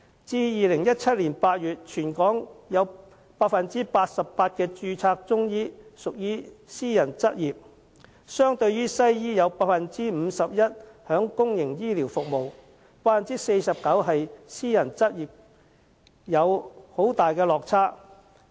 至2017年8月，全港有 88% 的註冊中醫屬私人執業，相對於西醫有 51% 在公營醫療服務及 49% 私人執業，有很大落差。